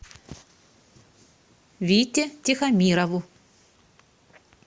вите тихомирову